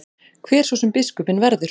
Hver svo sem biskupinn verður.